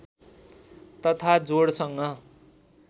तथा जोडसँग